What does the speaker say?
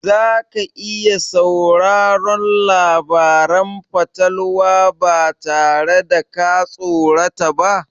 Za ka iya sauraron labaran fatalwa ba tare da ka tsorata ba?